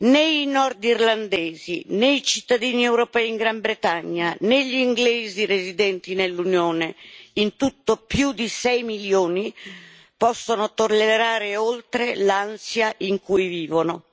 Né i nordirlandesi, né i cittadini europei in Gran Bretagna, né gli inglesi residenti nell'Unione in tutto più di 6 milioni possono tollerare oltre l'ansia in cui vivono.